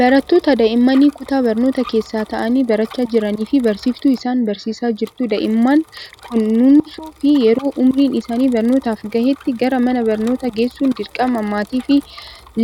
Barattoota daa'immanii kutaa barnootaa keessa taa'anii barachaa jiranii fi barsiiftuu isaan barsiisaa jirtu. Daa'imman kunuunsuu fi yeroo umuriin isaanii barnootaaf gahetti gara mana barnootaa geessuun dirqama maatii fi